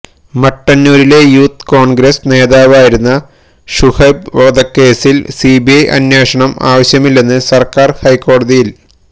മട്ടന്നൂരിലെ youth Congress നേതാവായിരുന്ന ഷുഹൈബ് വധക്കേസില് സിബിഐ അന്വേഷണം ആവശ്യമില്ലന്ന് സര്ക്കാര് ഹൈക്കോടതിയില്